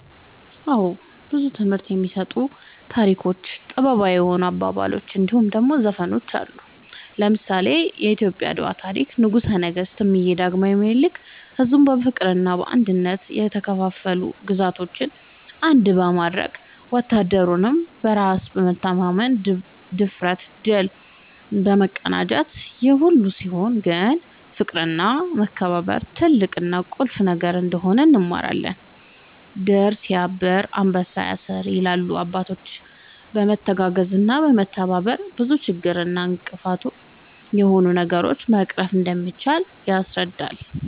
አወ ብዙ ትምህርት የሚሰጡ ታሪኮች ጥበባዊ የሆኑ አባባሎች እንድሁም ደሞ ዘፈኖች አሉ። ለምሳሌ :-የኢትዮጵያ የአድዋ ታሪክ ንጉሰ ነገስት እምዬ ዳግማዊ ምኒልክ ሕዝቡን በፍቅርና በአንድነት የተከፋፈሉ ግዛቶችን አንድ በማድረግ ወታደሩም በራስ መተማመንና ብድፍረት ድል መቀዳጀታቸውን ይሄ ሁሉ ሲሆን ግን ፍቅርና መከባበር ትልቅና ቁልፍ ነገር እንደነበር እንማርበታለን # "ድር ስያብር አንበሳ ያስር" ይላሉ አባቶች በመተጋገዝና በመተባበር ብዙ ችግር እና እንቅፋት የሆኑ ነገሮችን መቅረፍ እንደሚቻል ያስረዳሉ